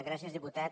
gràcies diputat